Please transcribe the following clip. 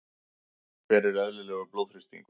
hver er eðlilegur blóðþrýstingur